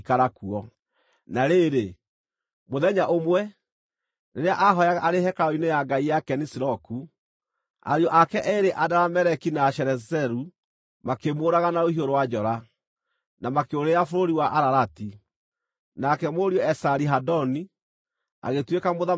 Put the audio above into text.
Na rĩrĩ, mũthenya ũmwe, rĩrĩa aahooyaga arĩ hekarũ-inĩ ya ngai yake Nisiroku, ariũ ake eerĩ Adarameleki na Sharezeru makĩmũũraga na rũhiũ rũa njora, na makĩũrĩra bũrũri wa Ararati. Nake mũriũ Esari-Hadoni agĩtuĩka mũthamaki ithenya rĩake.